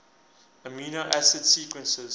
amino acid sequences